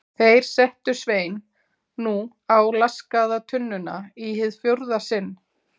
Þeir settu Svein nú á laskaða tunnuna í hið fjórða sinn.